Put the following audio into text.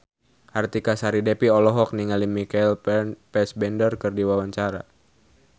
Artika Sari Devi olohok ningali Michael Fassbender keur diwawancara